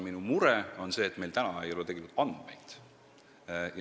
Minu mure on see, et meil ei ole andmeid.